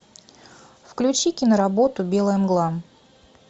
включи киноработу белая мгла